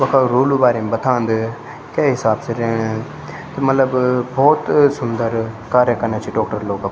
वख रुलू बारेम बथांद कै हिसाब से रैण त मलब भौत सुन्दर कार्य कना छि डॉक्टर लोग अपर।